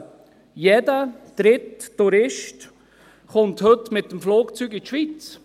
Jeder dritte Tourist kommt heute mit dem Flugzeug in die Schweiz.